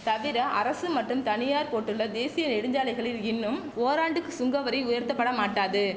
தவிர அரசு மற்றும் தனியார் போட்டுள்ள தேசிய நெடுஞ்சாலைகளில் இன்னும் ஓராண்டுக்கு சுங்கவரி உயர்த்தப்படமாட்டாது